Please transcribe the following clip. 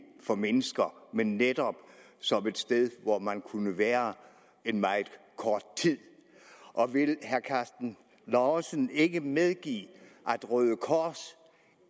for mennesker men netop som et sted hvor man kunne være en meget kort tid vil herre karsten lauritzen ikke medgive at røde kors